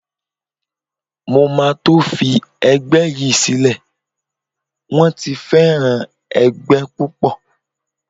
Mo máa tó fi ẹgbẹ́ yí sílẹ̀, wón ti fẹ́ràn ẹgbẹ́ púpọ̀.